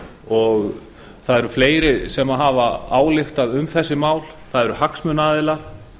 og það eru fleiri sem hafa ályktað um þessi mál það eru hagsmunaaðilar